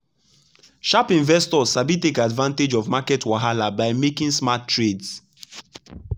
sharp investors sabi take advantage of market wahala by making smart trades.